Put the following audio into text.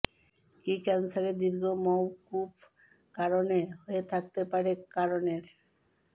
কি ক্যান্সারে দীর্ঘ মওকুফ কারণে হয়ে থাকতে পারে কারণের